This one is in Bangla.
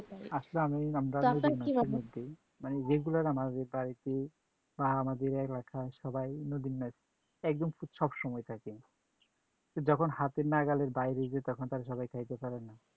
আসলে আমি আমরা যদি মতামত দেই মানে regular আমাদের বাড়িতে বা আমাদের এলাকার সবাই নদীর মাছ একদম খুব সবসময় থাকে, যখন হাতের নাগালের বাইরে যে তখন তারা সবাই খাইতে পারে না।